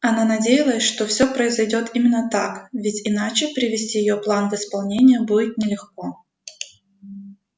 она надеялась что всё произойдёт именно так ведь иначе привести её план в исполнение будет нелегко